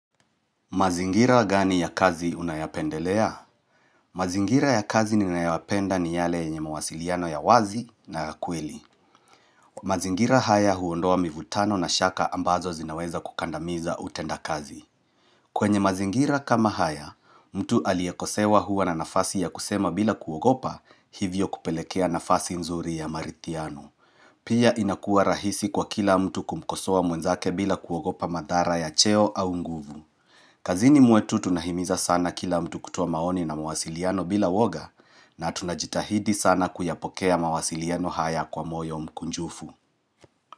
Mazingira gani ya kazi unayapendelea? Mazingira ya kazi ninayapenda ni yale yenye mawasiliano ya wazi na ya kweli. Mazingira haya huondoa mivutano na shaka ambazo zinaweza kukandamiza utenda kazi. Kwenye mazingira kama haya, mtu aliyekosewa hua na nafasi ya kusema bila kuogopa hivyo kupelekea nafasi nzuri ya marithiano. Pia inakua rahisi kwa kila mtu kumkosowa mwenzake bila kuogopa madhara ya cheo au nguvu. Kazini mwetu tunahimiza sana kila mtu kutoa maoni na mawasiliano bila uoga na tunajitahidi sana kuyapokea mawasiliano haya kwa moyo mkunjufu.